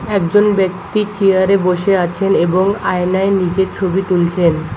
একজন ব্যক্তির চিয়ারে বসে আছেন এবং আয়নায় নিজের ছবি তুলছেন।